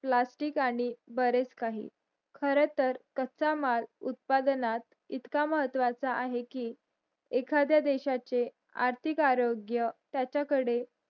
plastic आणि बरेच काही खर तर कच्चा माल उत्पादनात इतका महत्वाचा आहे कि एखाद्या देशाचे आर्थिक आरोग्य त्याचा कडे